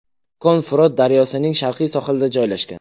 Kon Frot daryosining sharqiy sohilida joylashgan.